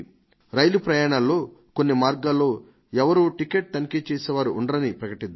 రైలు ప్రయాణాలలో కొన్ని మార్గాలలో ఎవరూ టికెట్ తనిఖీ చేసే వారు ఉండరని ప్రకటిద్దాం